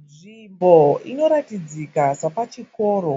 Nzvimbo inoratidzika sepachikoro